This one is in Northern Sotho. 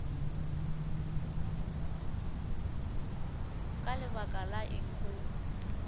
ka lebaka la eng o